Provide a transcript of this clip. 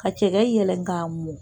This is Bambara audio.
Ka cɛgɛ yɛlɛ k'a mɔn